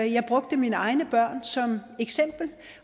jeg brugte mine egne børn som eksempel